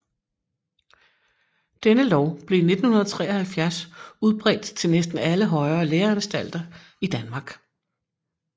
Denne lov blev i 1973 udbredt til næsten alle højere læreanstalter i Danmark